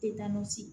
Te taa nɔsigi